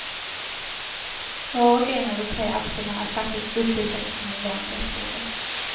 Var och en av de tre akterna är faktiskt uppbyggd kring en lång berättelse.